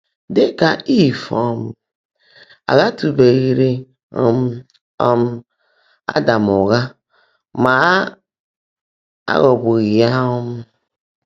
Dị́ kà Ìv, um à ghàtụ́beghị́rị́ um um Ádám ụ́ghá, mà á ghọ́gbùghị́ yá. um